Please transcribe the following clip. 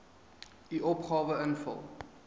u opgawe invul